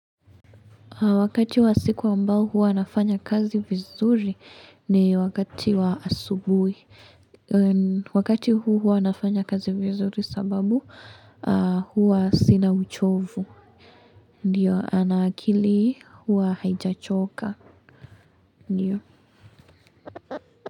Wakati wa siku ambao huwa nafanya kazi vizuri ni wakati wa asubui. Wakati huu huwa nafanya kazi vizuri sababu huwa sina uchovu. Ndiyo, ana akili huwa haijachoka. Ndiyo.